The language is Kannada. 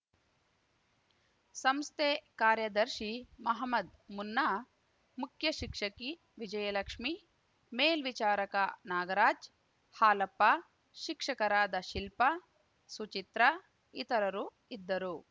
ಸಂಸ್ಥೆ ಕಾರ್ಯದರ್ಶಿ ಮಹಮದ್‌ ಮುನ್ನಾ ಮುಖ್ಯಶಿಕ್ಷಕಿ ವಿಜಯಲಕ್ಷ್ಮೀ ಮೇಲ್ವಿಚಾರಕ ನಾಗರಾಜ್‌ ಹಾಲಪ್ಪ ಶಿಕ್ಷಕರಾದ ಶಿಲ್ಪ ಸುಚಿತ್ರಾ ಇತರರು ಇದ್ದರು